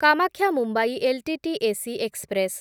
Kamakhya Mumbai LTT AC express